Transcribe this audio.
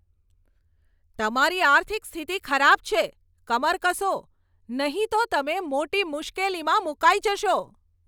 તમારી આર્થિક સ્થિતિ ખરાબ છે! કમર કસો, નહીં તો તમે મોટી મુશ્કેલીમાં મુકાઈ જશો.